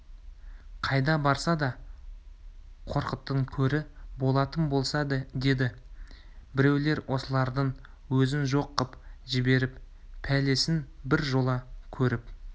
қайда барса да қорқыттың көрі болатын болса деді біреулер осылардың өзін жоқ қып жіберіп пәлесін бір жола көріп